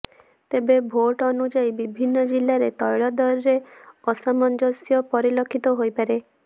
ତେବେ ଭାଟ ଅନୁଯାୟୀ ବିଭିନ୍ନ ଜିଲ୍ଲାରେ ତୈଳଦରରେ ଅସାମଞ୍ଜସ୍ୟ ପରିଲକ୍ଷିତ ହୋଇପାରେ